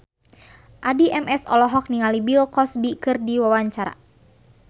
Addie MS olohok ningali Bill Cosby keur diwawancara